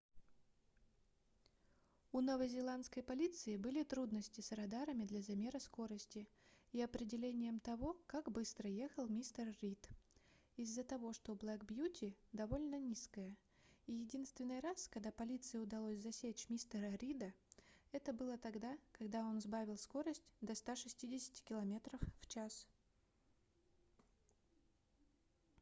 у новозеландской полиции были трудности с радарами для замера скорости и определением того как быстро ехал мистер рид из-за того что black beauty довольно низкая и единственный раз когда полиции удалось засечь мистера рида это было тогда когда он сбавил скорость до 160 км/ч